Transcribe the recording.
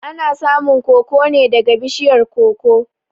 Ana samun koko neh daga bishiyar koko